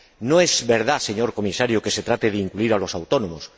No es verdad, señor Comisario, que se trate de incluir a los autónomos.